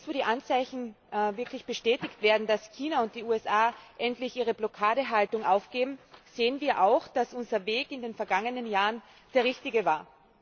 Jetzt, wo die Anzeichen wirklich bestätigt werden, dass China und die USA endlich ihre Blockadehaltung aufgeben, sehen wir auch, dass unser Weg in den vergangenen Jahren der richtige war.